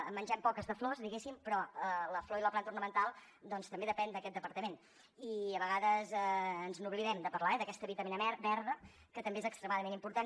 en mengem poques de flors diguéssim però la flor i la planta ornamental doncs també depenen d’aquest departament i a vegades ens n’oblidem de parlar ne eh d’aquesta vitamina verda que també és extremadament important